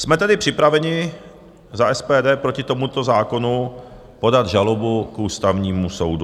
Jsme tedy připraveni za SPD proti tomuto zákonu podat žalobu k Ústavnímu soudu.